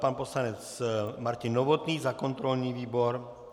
Pan poslanec Martin Novotný za kontrolní výbor.